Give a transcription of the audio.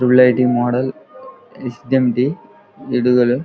model S _ఏం_ డి ఎడుగలు --